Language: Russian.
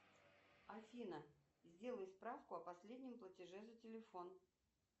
афина сделай справку о последнем платеже за телефон